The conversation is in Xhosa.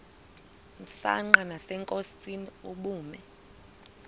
msanqa nasenkosini ubume